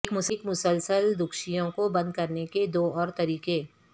ایک مسلسل دوکشیوں کو بند کرنے کے دو اور طریقے